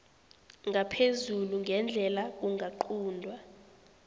ngaphezulu ngendlela kungaquntwa